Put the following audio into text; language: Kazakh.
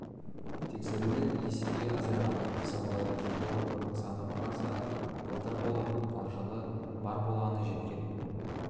тексерулер есеге азайған мысалы жылы оның саны құраса былтыр болып ал жылы бар болғаны жеткен